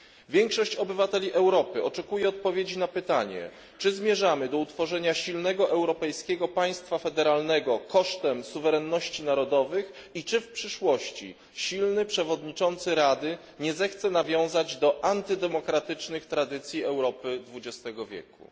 Większość obywateli Europy oczekuje odpowiedzi na pytanie, czy zmierzamy do utworzenia silnego europejskiego państwa federalnego kosztem suwerenności narodowych i czy w przyszłości silny przewodniczący Rady nie zechce nawiązać do antydemokratycznych tradycji Europy XX wieku.